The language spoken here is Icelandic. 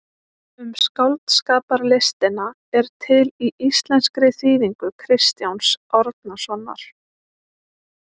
Um skáldskaparlistina er til í íslenskri þýðingu Kristjáns Árnasonar.